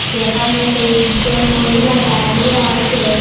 যেখানে কয়েকজন মহিলা দাঁড়িয়ে আসে।